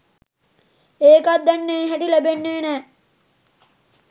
ඒකත් දැන් ඒ හැටි ලැබෙන්නෙ නෑ